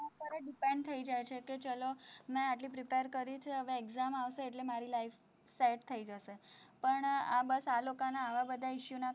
અત્યારે depend થઇ જાય છે, કે ચલો મેં આટલું prepare કર્યું છે, હવે exam આવશે એટલે મારી life set થઇ જશે, પણ આ બસ આ લોકોના આવા બધા issue ના